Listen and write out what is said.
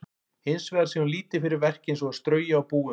Hins vegar sé hún lítið fyrir verk eins og að strauja og búa um.